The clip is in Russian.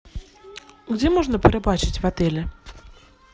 где можно порыбачить в отеле